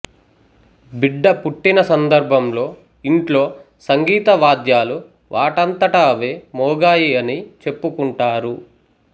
బిడ్డ పుట్టిన సందర్భంలో ఇంట్లో సంగీత వాద్యాలు వాటంతట అవే మోగాయి అని చెప్పుకుంటారు